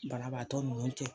Banabaatɔ ninnu cɛ